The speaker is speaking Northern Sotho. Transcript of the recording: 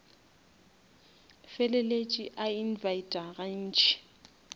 feleletše a invita ga ntši